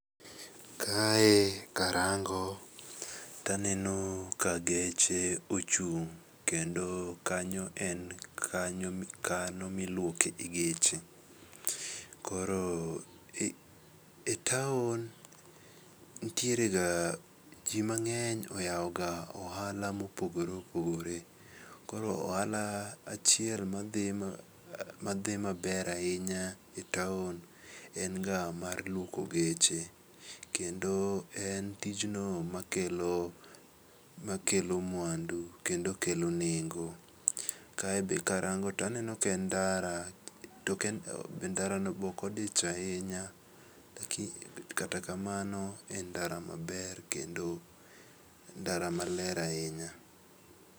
Kae karango taneno ka geche ochung' kendo kanyo en kanyo miluoke geche. Koro e taon ntierega, jii mang'eny oyaoga ohala mopogore opogore. Koro ohala achiel madhi maber ainya e taon enga mar luoko geche kendo en tijno makelo mwandu kendo okelo nengo. Kae be karango taneno ken ndara token, ndarano beokodich ainya kata kamano en ndara maber kendo ndara maler ainya.